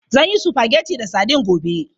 Zan yi spaghetti da sadin gobe.